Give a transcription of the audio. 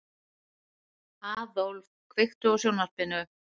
Aðólf, kveiktu á sjónvarpinu.